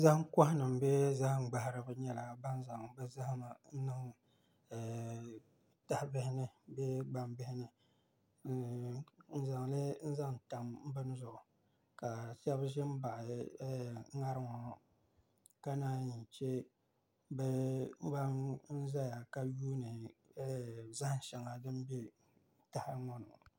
Zaham koha nim bee zaham gbaharibi nyɛla ban zaŋ bi zahama niŋ tahabihi ni bee gbambihi ni n zaŋli n zaŋ tam bini zuɣu ka shab ʒi n baɣa ŋarim ŋɔ ka naan yi chɛ bi ban ʒɛya ka yuundi zaham shɛŋa din bɛ tahali ŋɔ ni ŋɔ